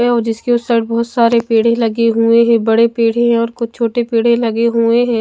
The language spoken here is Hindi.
और उसके इस साइड बहोत सारे पेड लगे हुए है बड़े पेड़ है और कुछ छोटे पेड़ लगे हुए है।